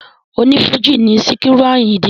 O ní Fújì ni Sikiru Àyìndé